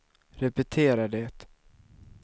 repetera det